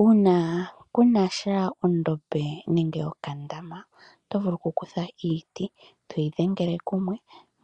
Uuna kuu na sha ondombe nenge okandama, oto vulu okukutha iiti e toyi dhengele kumwe,